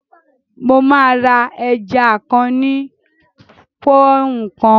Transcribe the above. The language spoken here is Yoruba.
Mo máa ra ẹja kan ní pọ́ọ́úǹ kan